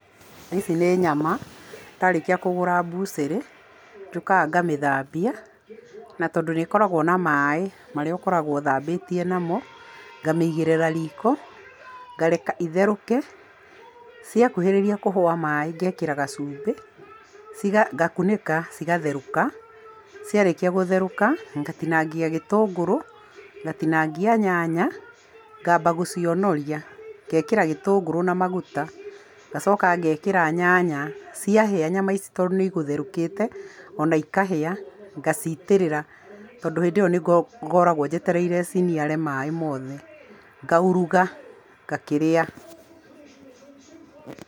Ici nĩ nyama. Ndarĩkia kũgũra mbucĩrĩ, njũkaga ngamĩthambia. Na tondũ nĩ ĩkoragwo na maaĩ marĩa ũkoragwo ũthambĩtie namo, ngamĩigĩrĩra riko, ngareka itherũke. Ciakuhĩrĩria kũhũa maaĩ ngeekĩra gacumbĩ, ngakunĩka, cigatherũka. Ciarĩkia gũtherũka, ngatinangia gĩtungũrũ, ngatinangia nyanya, ngaamba gũcionoria. Ngeekĩra gĩtũngũrũ na maguta, ngacoka ngeekĩra nyanya. Ciahĩa nyama ici tondũ nĩ igũtherũkĩte, o na ikahĩa, ngaciitĩrĩra tondũ hĩndĩ ĩyo nĩ ngoragwo njetereire ciniare maaĩ mothe. Ngauruga, ngakĩrĩa.